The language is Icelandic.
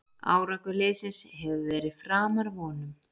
Árangur liðsins hefur verið framar vonum